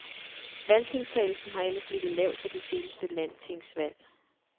Valgdeltagelsen har ellers ligget lavt ved de seneste landstingsvalg.